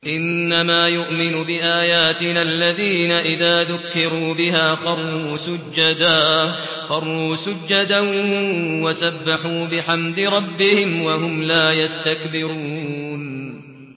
إِنَّمَا يُؤْمِنُ بِآيَاتِنَا الَّذِينَ إِذَا ذُكِّرُوا بِهَا خَرُّوا سُجَّدًا وَسَبَّحُوا بِحَمْدِ رَبِّهِمْ وَهُمْ لَا يَسْتَكْبِرُونَ ۩